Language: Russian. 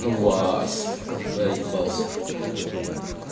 ну вас заебался